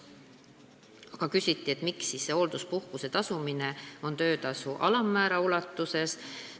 Samas küsiti, miks on ette nähtud hoolduspuhkuse tasustamine töötasu alammäära ulatuses.